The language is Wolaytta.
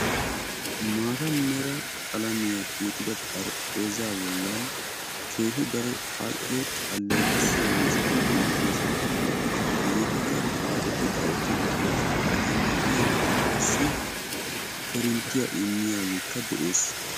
Maataa mera qalamiyan tiyetida xarphpheezaa bollan keehi daro al''o aleeqissiya miishshati beettoosona, hegeetikka xaaxeti xaaxxeti uttiddossona, eta miyyiyankka qassi korinttiya immiyageekka de'ees.